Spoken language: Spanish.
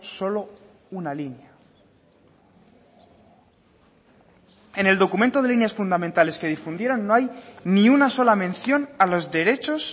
solo una línea en el documento del líneas fundamentales que difundieron no hay ni una sola mención a los derechos